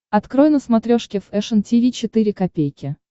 открой на смотрешке фэшн ти ви четыре ка